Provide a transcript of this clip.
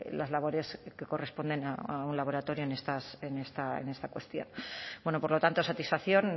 las labores que corresponden a un laboratorio en esta cuestión bueno por lo tanto satisfacción